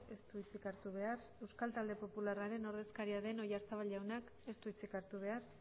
ez du hitzik hartu behar euskal talde popularraren ordezkaria den oyarzabal jaunak ez du hitzik hartu behar